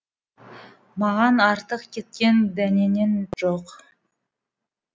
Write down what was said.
маған артық кеткен дәнеңең жоқ